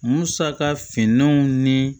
Musaka finnanw ni